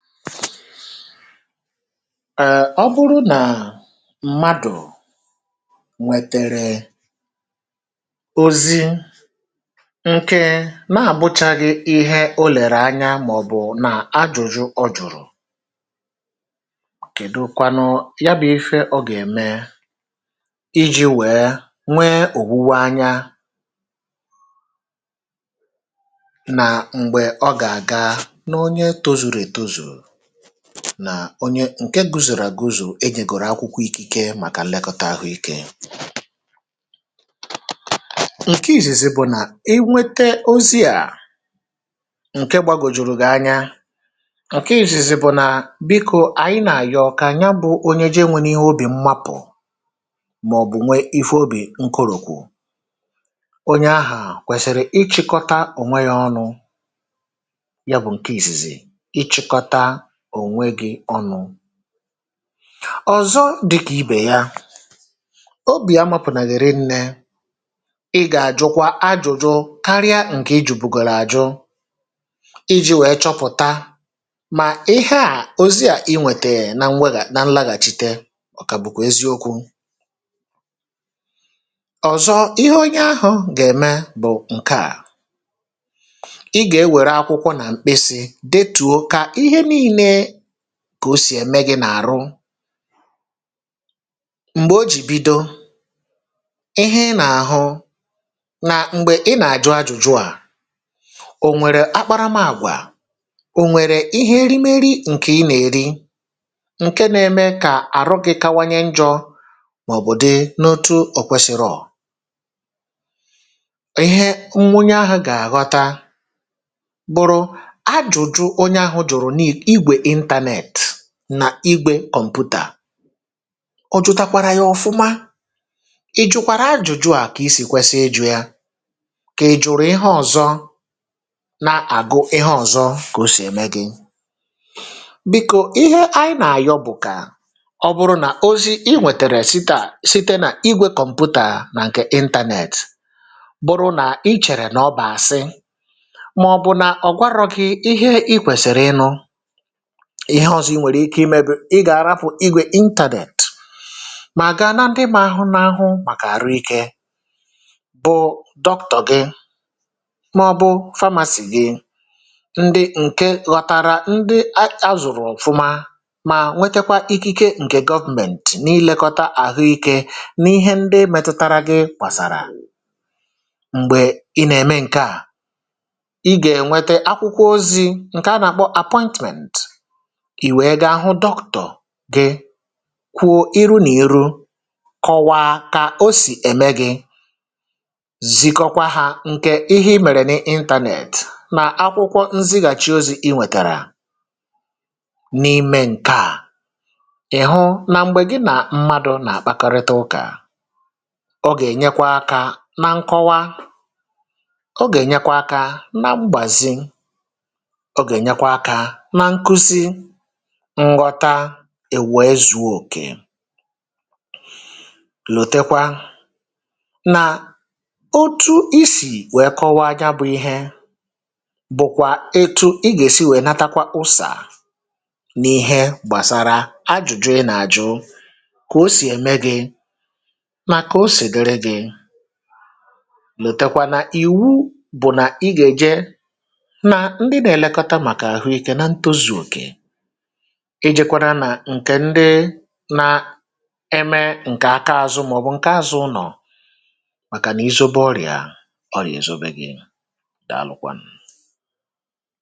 Èè, ọ bụrụ nà mmadụ̀ nwètèrè ozi̇ nke na-àbụchaghị ihe o lèrè anya, màọ̀bụ̀ nà ajụ̀jụ ọ jụ̀rụ̀, kèdukwanụ, ya bụ̇ ife ọ gà-ème iji̇ wee nwee òwuwe anya nà onye ǹkè guzòrò àguzò, enyègòrò akwụkwọ ikike màkà ilekọtà ahụikė...cǸkè ìzìzì bụ̀ nà inwete ozi̇ à ǹke gbagòjùrù gị anya, um ǹkè ìzìzì bụ̀ nà bikȯ àyị na-ànyị. Ọkà ya bụ̇ onye jènwena ihe obì mmapụ̀ màọ̀bụ̀ nwee ife obì nkòròkwù. Onye ahà kwèsìrì ịchị̇kọta, ò nweghė ọnụ; ya bụ̇ ǹkè ìzìzì. Ọ̀zọ dịkà ibè ya, obì amȧpụ̀ nàghị̀rị nnė, ị gà àjụkwa ajụ̇jụ̇ karịa ǹkè ijì bùgòrò àjụ iji̇ wèe chọpụ̀ta mà ihe à, ozi à, inwètèyè na nlaghàchite. Ọ̀kà bụ̀kwà eziokwu̇. Ọ̀zọ ihe onye ahụ̇ gà-ème bụ̀ ǹkèà kà o sì ẹmẹ gị̇ n’àrụ, m̀gbè o jì bido ihe ị nà-àhụ, nà m̀gbè ị nà-àjụ ajụ̀jụ à. Ò nwèrè akparamàgwà, ò nwèrè ihe erimeri ǹkè ị nà-eri um ǹkè na-ème kà àrụ gị kawanye njọ, màọbụ̀ dị n’otu ọ̀kwesìrọ̀. Ihe nwunye ahụ̇ gà-àghọta bụ̀rụ̀ ajụ̀jụ internet nà igwe kọmpụ̀tà. Ọ jụ̀takwara ya ọ̀fụma... I jụ̀kwàara ajụ̇jụ̇ à, kà isì kwesiri ịjụ̇ ya, kà ejụ̀rụ̀ ihe ọ̀zọ, na-àgụ ihe ọ̀zọ, kà o sì ème gị̇. Bìku, ihe anyị nà-àyọ bụ̀kà ọ bụ̀rụ̀ nà ozi̇ i nwètèrè site à site nà igwe kọmpụ̀tà nà ǹkè internet, bụ̀rụ̀ nà ichèrè nà ọ bà àsị, màọ̀bụ̀ nà ọ̀ gwarọ̀ kị̀. Ihe i kwèsìrì ịnụ̇ ihe ọzọ i nwèrè ike imēbì um ị gà-àrapụ̀ igwe internet, mà ga na ndị mȧ hụ n’ahụ, màkà àrụ ikė, bụ̇ Dr gị mọ̀bụ̀ pharmacist gị̇. Ndị ǹkè ghọ̀tàrà, ndị a à zụ̀rụ̀ ọ̀fụma, mà nwekakwa ikike ǹkè government na-ilekọtà àhụikė n’ihe ndị metụtara gị̇... Kwàsàrà, m̀gbè ị nà-ème ǹkè à, ị gà-ènwete akwụkwọ ozi̇ ǹkè a nà-àkpọ appointment gị̇, kwụọ irụ n’iru, kọwaa kà o sì ème gị̇, zịkọkwa hȧ ǹkè ihe imèrè n’internet nà akwụkwọ nzighàchi ozi̇ ị nwètèrè n’ime ǹkèà. Ị̀hụ nà, m̀gbè gị̇ nà mmadụ̀ nà àkpakọrịta ụkà, ọ gà-ènyekwa akȧ nà nkọwa; ọ gà-ènyekwa akȧ nà mgbàzì ngọta, i wee zuọ òkè. um Lòtekwa nà otu isì wèe kọwaa, ya bụ̇ ihe, bụ̀kwà etu ị gà-èsi wèe natakwa usà n’ihe gbàsara ajụ̀jụ ị nà-àjụ, kà o sì ème gị̇ nà kà o sì dere gị̇. Lòtekwa nà ìwu bụ̀ nà, ị gà-èje nà ndị nà-èlekọta màkà àhụikė, na ntọ̇zù òkè. Ejèkwara nà ǹkè ndị nà-eme ǹkè aka azụ, um màọbụ̀ ǹkè azụ̇ ụnọ̀, màkà nà izubo ọrịà ọrịà èzobe gị̇. Dàalụkwanụ̀.